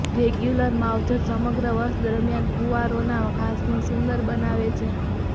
regular માવજત સમગ્ર વર્ષ દરમિયાન ફુવારોના ઘાસને સુંદર બનાવે છે